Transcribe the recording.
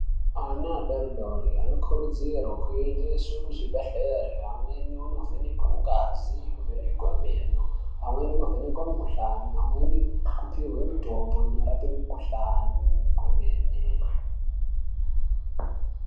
Ana adoridori anokurudzirwe kuendeswe kuzvibhehlera amweni oovhenekwe ngazi, kuvhenekwe meno, amweni wovhenekwe mikuhlani vamweni ngekupihwe mitombo inorape mikuhlani kwemene.